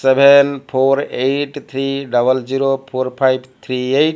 seven four eight three double zero four five three eight.